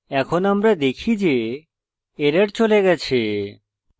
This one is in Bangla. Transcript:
এখন আমরা দেখি যে error চলে গেছে